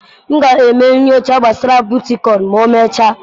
M ga-eme nyocha gbasara bitkoịn ma emechaa.